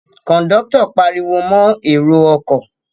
Kòńdọ́tọ̀ pariwo mọ èrò ọkọ̀